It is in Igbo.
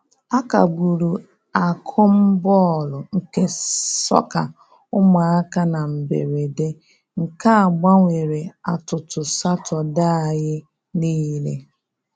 A kagburu akụm bọọlụ nke sọka ụmụaka na mberede, nke a gbanwere atụtụ Satọde anyị nile